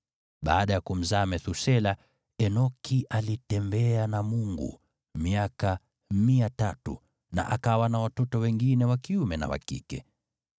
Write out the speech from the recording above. Baada ya kumzaa Methusela, Enoki alitembea na Mungu miaka 300, na akawa na watoto wengine wa kiume na wa kike.